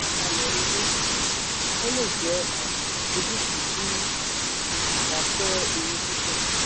àlàkalẹ̀ owó: ó lè jẹ́ um ojútùú tí o kò bá fẹ́ ewu púpọ̀.